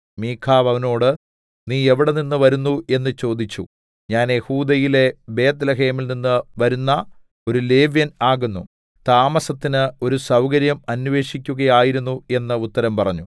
മീഖാവ് അവനോട് നീ എവിടെനിന്ന് വരുന്നു എന്ന് ചോദിച്ചു ഞാൻ യെഹൂദയിലെ ബേത്ത്ലേഹേമിൽനിന്ന് വരുന്ന ഒരു ലേവ്യൻ ആകുന്നു താമസത്തിന് ഒരു സൗകര്യം അന്വേഷിക്കുകയായിരുന്നു എന്ന് ഉത്തരം പറഞ്ഞു